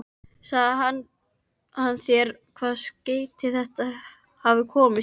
Sagði hann þér, hvaða skeyti þeir hafa komist í?